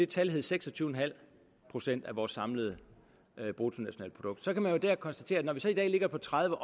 tal hed seks og tyve procent af vores samlede bruttonationalprodukt så kan man jo konstatere at når vi så i dag ligger på tredive